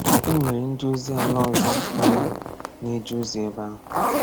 E nwere ndị ozi ala ọzọ anọ na-eje ozi ebe ahụ.